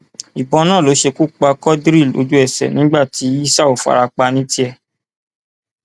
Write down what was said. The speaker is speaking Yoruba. ìbọn náà ló ṣekú pa quadri lójúẹsẹ nígbà tí yísàù fara pa ní tiẹ